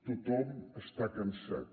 tothom està cansat